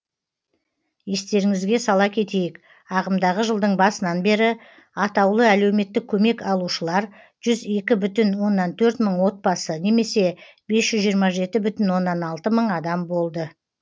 естеріңізге сала кетейік ағымдағы жылдың басынан бері атаулы әлеуметтік көмек алушылар жүз екі бүтін оннан төрт мың отбасы немесе бес жүз жиырма жеті бүтін оннан алты мың адам болды